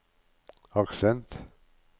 aksent